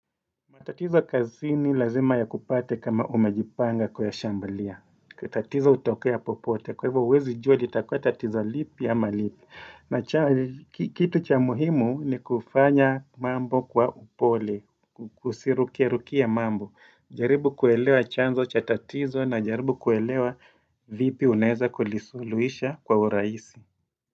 Matatizo kazi ni lazima ya kupate kama umejipanga kuyashambulia. Katatizo hutokoe ya popote. Kwa hivyo uwezi jua litakua tatizo lipi ama lipi. Na kitu cha muhimu ni kufanya mambo kwa upole. Usirukie rukie mambo. Jaribu kuelewa chanzo cha tatizo na jaribu kuelewa vipi unaweza kulisuluisha kwa urahisi.